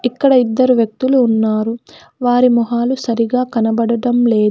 ఇక్కడ ఇద్దరు వ్యక్తులు ఉన్నారు వారి మొహాలు సరిగా కనబడటం లే--